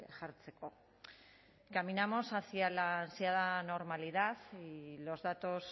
jartzeko caminamos hacia la ansiada normalidad y los datos